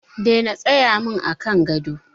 Daina tsayawa min a kan gado.